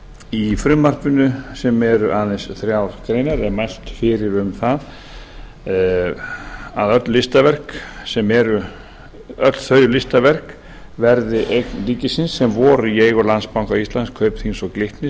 í frumvarpinu sem eru aðeins þrjár greinar er mælt fyrir um að öll þau listaverk verði eign ríkisins sem voru í eigu landsbanka íslands kaupþings og glitnis